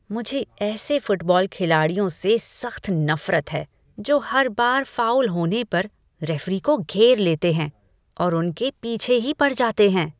मुझे ऐसे फुटबॉल खिलाड़ियों से सख्त नफरत है जो हर बार फाउल होने पर रेफरी को घेर लेते हैं और उनके पीछे ही पड़ जाते हैं।